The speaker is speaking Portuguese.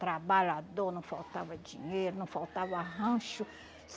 trabalhador, não faltava dinheiro, não faltava rancho.